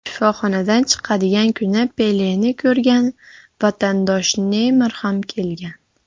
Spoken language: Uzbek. Shifoxonadan chiqadigan kuni Peleni ko‘rgani vatandoshi Neymar ham kelgan.